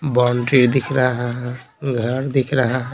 Boundary दिख रहा है घर दिख रहा है।